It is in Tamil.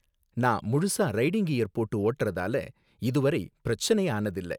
நான் முழுசா ரைடிங் கியர் போட்டு ஓட்டறதால, இது வரை பிரச்சனை ஆனது இல்ல.